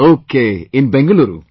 Okay, in Bengaluru